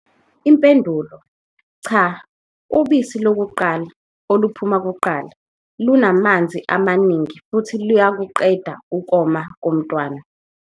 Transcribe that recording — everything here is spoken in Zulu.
Impendulo- Cha, ubisi lokuqala, oluphuma kuqala, lunamanzi amaningi futhi luyakuqeda ukoma komntwana.